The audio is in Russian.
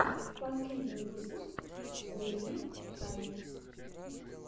последний выпуск гуриев тайм